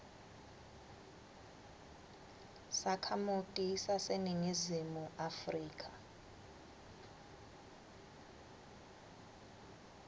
sakhamuti saseningizimu afrika